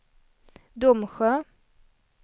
Domsjö